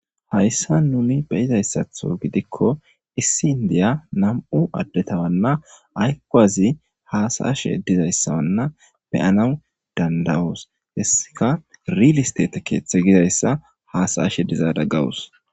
Hayssa nuni beyizayssatho gidikko issi indiya nam'u addetawanna aykazi haasaashe dizayssawanna beyanawu dandawoos hessika ril isteta keeththe gizayssa haasayashe dizada gawus.